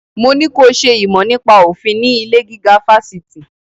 Mo ní ko ṣe ìmọ̀ nípa òfin ní ilé-gíga fásitì!